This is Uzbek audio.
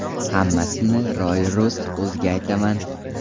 Hammasini ro‘y-rost o‘ziga aytaman.